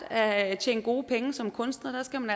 at tjene gode penge som kunstner der skal man